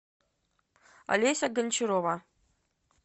олеся гончарова